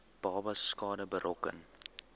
babas skade berokken